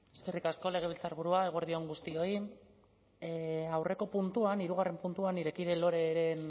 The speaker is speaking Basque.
eskerrik asko legebiltzarburua eguerdi on guztioi aurreko puntuan hirugarren puntuan nire kide loreren